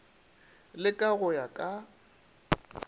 le ka go ya ka